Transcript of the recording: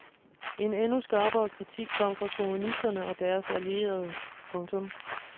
En endnu skarpere kritik kom fra kommunisterne og deres allierede. punktum